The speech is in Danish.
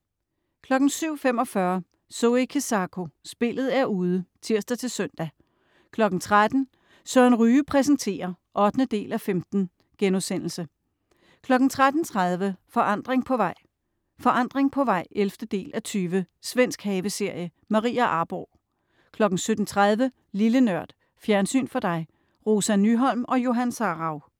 07.45 Zoe Kezako. Spillet er ude (tirs-søn) 13.00 Søren Ryge præsenterer 8:15* 13.30 Forandring på vej. Forandring på vej 11:20. Svensk haveserie. Maria Arborgh 17.30 Lille Nørd. Fjernsyn for dig. Rosa Nyholm og Johan Sarauw